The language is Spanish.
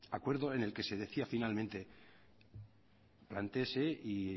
acuerdo en el que se decía finalmente plantéese y